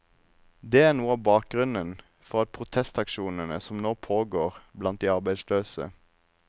Det er noe av bakgrunnen for protestaksjonen som nå pågår blant de arbeidsløse.